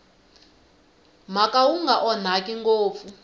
mhaka wu nga onhaki ngopfu